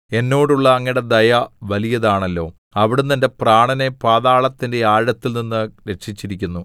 എന്നോടുള്ള അങ്ങയുടെ ദയ വലിയതാണല്ലോ അവിടുന്ന് എന്റെ പ്രാണനെ പാതാളത്തിന്റെ ആഴത്തിൽ നിന്ന് രക്ഷിച്ചിരിക്കുന്നു